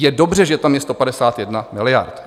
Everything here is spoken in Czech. Je dobře, že tam je 151 miliard.